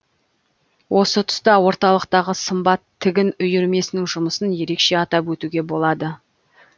осы тұста орталықтағы сымбат тігін үйірмесінің жұмысын ерекше атап өтуге болады